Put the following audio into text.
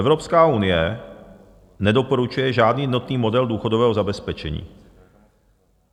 Evropská unie nedoporučuje žádný jednotný model důchodového zabezpečení.